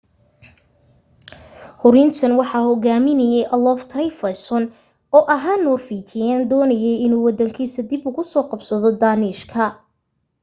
hurintan waxaa hogaaminayay olaf trygvasson oo ahaa noorwiijiyaan doonayay inuu waddankiisa dib uga soo qabsado dhaanishka